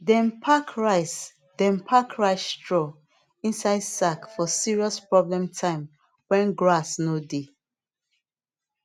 dem pack rice dem pack rice straw inside sack for serious problem time when grass no dey